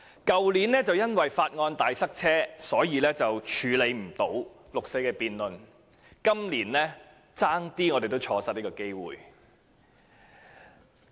去年由於法案大塞車，所以關於六四的辯論無法進行，我們今年險些也錯失這個機會。